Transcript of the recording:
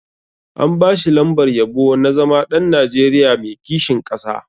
An ba shi lambar yabo na zama ɗan Nigeria mai kishin ƙasa.